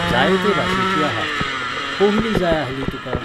जाय ते भाशेची आहा. कोहली जाय आहली तुका?